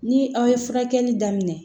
Ni aw ye furakɛli daminɛ